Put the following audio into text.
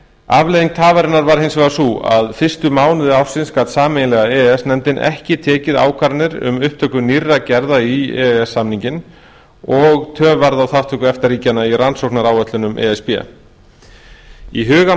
afleiðing tafarinnar var hins vegar sú að fyrstu mánuði ársins gat sameiginlega e e s nefndin ekki tekið ákvarðanir um upptöku nýrra gerða í e e s samninginn og töf varð á þátttöku efta ríkjanna í rannsóknaráætlunum e s b í hugum